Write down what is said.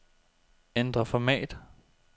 Ændr format.